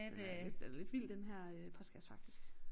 Øh lidt den er lidt vild faktisk den her øh postkasse faktisk